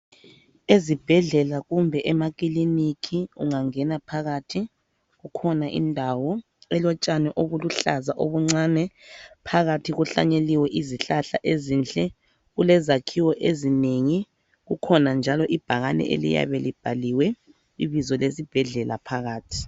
Ezibhedlela kumbe emakilinika ungangena phakathi kukhona indawo elotshani obuluhlaza obuncane, phakathi kuhlanyeliwe izihlahla ezinhle, kulezakhiwo ezinengi, kukhona njalo ibhakane eliyabe libhaliwe ibizo lesibhedlela. phakathi .